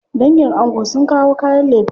Dangin ango sun kawo kayan lefe.